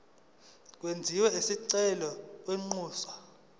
kwenziwe isicelo kwinxusa